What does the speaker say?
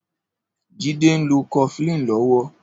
Jide n ló kọ̀flin lọ̀wọ̀